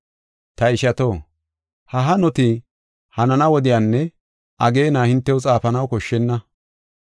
Ta ishato, ha hanoti hanana wodiyanne ageena hintew xaafanaw koshshenna.